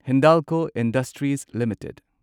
Hindalco industries limited